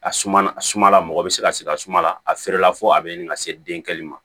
A suma sumala mɔgɔ bɛ se ka sigi a suma la a feerela fɔ a bɛ ɲini ka se denkɛli ma